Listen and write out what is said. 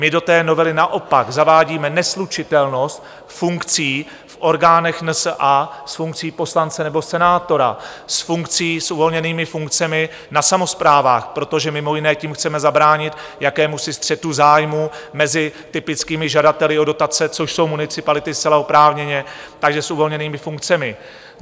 My do té novely naopak zavádíme neslučitelnost funkcí v orgánech NSA s funkcí poslance nebo senátora, s funkcí, s uvolněnými funkcemi na samosprávách, protože mimo jiné tím chceme zabránit jakémusi střetu zájmů mezi typickými žadateli o dotace, což jsou municipality zcela oprávněně, takže s uvolněnými funkcemi.